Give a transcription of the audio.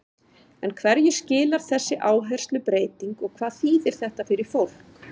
En hverju skilar þessi áherslubreyting og hvað þýðir þetta fyrir fólk?